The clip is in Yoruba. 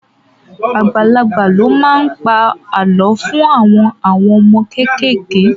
Àgbàlagbà ló máa ń pa àlọ́ fún àwọn àwọn ọmọ kéékèèké